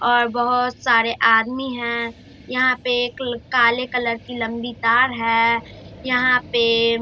और बहुत सारे आदमी है यहाँ पे एक काले कलर की लंबी तार है यहां पे --